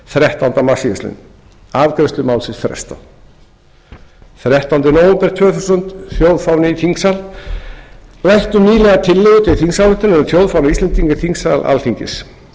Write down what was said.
þrettánda mars síðastliðinn afgreiðslu málsins frestað þrettánda nóvember tvö þúsund þjóðfáni í þingsal við ræddum nýlega tillögu til þingsályktunar um þjóðfána íslendinga í þingsal alþingis